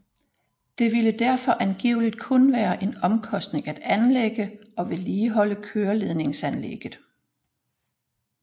Det ville derfor angiveligt kun være en omkostning at anlægge og vedligeholde køreledningsanlægget